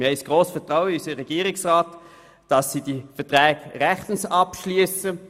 Wir haben grosses Vertrauen in unseren Regierungsrat, dass er solche Verträge rechtens abschliesst.